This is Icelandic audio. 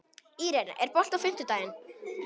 Irene, er bolti á fimmtudaginn?